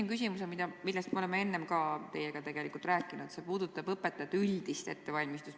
Ma küsin selle kohta, millest me oleme tegelikult ka varem teiega rääkinud, see puudutab õpetajate üldist ettevalmistust.